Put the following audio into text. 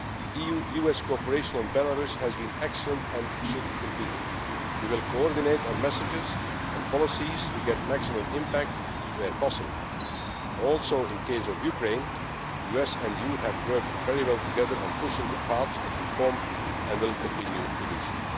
EU US cooperation on Belarus has been excellent and should continue. We will coordinate our messages and policies to get maximum impact, where possible. Also, in the case of Ukraine, the US and EU have worked very well together on pushing the path of reform and will continue to